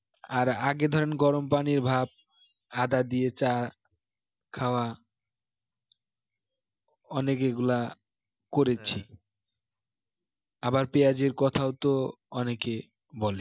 আর আগে ধরেন গরম পানির ভাপ আদা দিয়ে চা খাওয়া অনেক এগুলা করেছি আবার পেঁয়াজের কথাও তো অনেকে বলে